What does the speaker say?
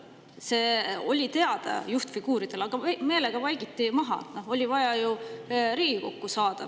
See oli juhtfiguuridel teada, aga see meelega vaikiti maha, oli vaja ju Riigikokku saada.